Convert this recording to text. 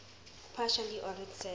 partially ordered set